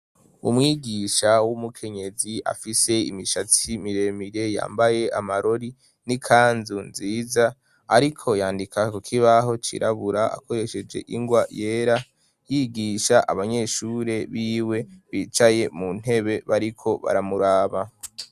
Umwigisha w'umukenyezi afise imishatsi miremire yambaye amarori n'ikanzu nziza, ariko yandika kukibaho cirabura akoresheje ingwa yera yigisha abanyeshure biwe bicaye mu ntebe bariko baramuraba.